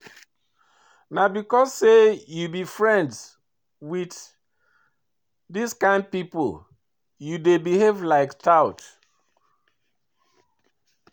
Na because sey you be friends wit dis kain pipo you dey behave like tout.